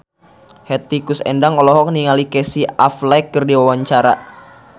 Hetty Koes Endang olohok ningali Casey Affleck keur diwawancara